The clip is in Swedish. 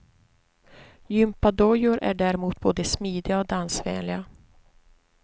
Gympadojor är däremot både smidiga och dansvänliga.